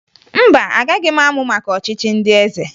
Mba, agaghị m amụ maka ọchịchị ndị eze